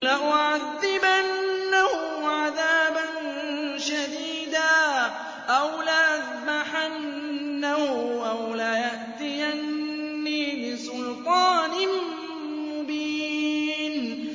لَأُعَذِّبَنَّهُ عَذَابًا شَدِيدًا أَوْ لَأَذْبَحَنَّهُ أَوْ لَيَأْتِيَنِّي بِسُلْطَانٍ مُّبِينٍ